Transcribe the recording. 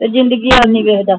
ਤੇ ਜਿੰਦਗੀ ਇਹ ਨਹੀਂ ਵੇਖਦਾ